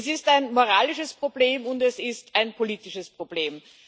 Es ist ein moralisches Problem, und es ist ein politisches Problem.